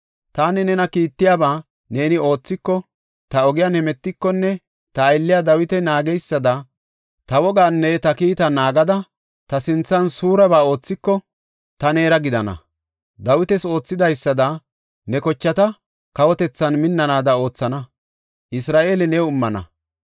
Taani nena kiittiyaba neeni oothiko, ta ogiyan hemetikonne ta aylley Dawiti naagidaysada ta wogaanne ta kiitaa naagada, ta sinthan suureba oothiko, ta neera gidana. Dawitas oothidaysada ne kochati kawotethan minnanaada oothana; Isra7eele new immana.